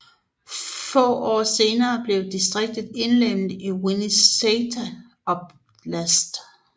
Få år senere blev distriktet indlemmet i Vinnitsa oblast